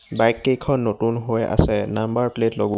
Bike কেইখন নতুন হৈ আছে নাম্বাৰ প্লেট লগো.